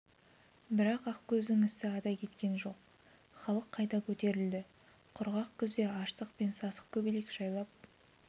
бірақ ақкөздің ісі ада кеткен жоқ халық қайта көтерілді құрғақ күзде аштық пен сасық көбелек жайлап